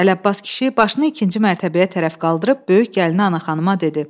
Ələbbas kişi başını ikinci mərtəbəyə tərəf qaldırıb böyük gəlini Ana xanıma dedi: